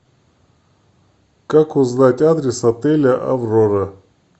как узнать адрес отеля аврора